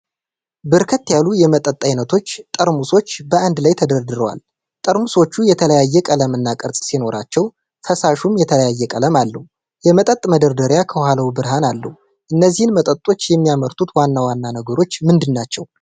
በርከት ያሉ የመጠጥ አይነቶች ጠርሙሶች በአንድ ላይ ተደርድረዋል። ጠርሙሶቹ የተለያየ ቀለምና ቅርጽ ሲኖራቸው ፈሳሹም የተለያየ ቀለም አለው። የመጠጥ መደርደሪያ ከኋላው ብርሃን አለው። እነዚህን መጠጦች የሚያመርቱት ዋና ዋና ነገሮች ምንድናቸው?